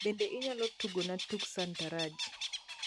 bende inyalo tugona tuk sataranji